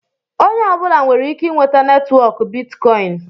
Onye ọbụla nwere ike inweta netwọk bitkọin.